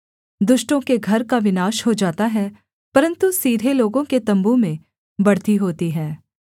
दुष्टों के घर का विनाश हो जाता है परन्तु सीधे लोगों के तम्बू में बढ़ती होती है